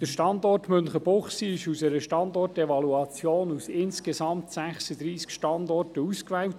Der Standort Münchenbuchsee wurde in einer Standortevaluation aus insgesamt 36 Standorten ausgewählt.